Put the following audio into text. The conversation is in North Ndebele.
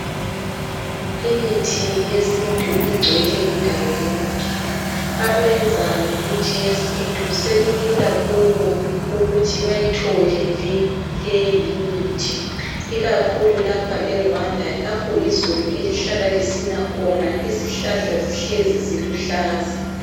Imithi yesintu Igcwele indawo yonke abenza ngemithi yesintu sekulula kubo ukuthi bayithole leyi imithi ikakhulu lapha eRwanda lapho izulu elihlala lisina khona izihlahla zihleli ziluhlaza